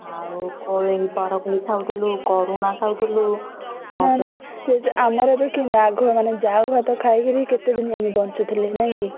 ଆଉ କୋଳି ବରକୋଳି ଖାଉଥିଲୁ କରୁଣା ଖାଉଥିଲୁ।